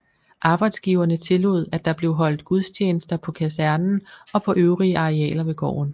Arbejdsgiverne tillod at der blev holdt gudstjenester på kasernerne og på øvrige arealer ved gården